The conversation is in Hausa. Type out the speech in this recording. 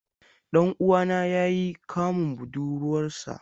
Dan uwana ya yi kamun budurwarsa.